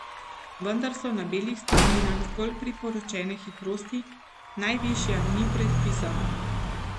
Vendar so na belih strminah zgolj priporočene hitrosti, najvišja ni predpisana.